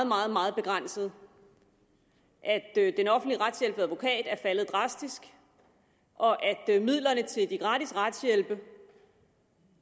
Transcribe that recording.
meget meget begrænsede den offentlige retshjælp ved advokat er faldet drastisk og midlerne til den gratis retshjælp er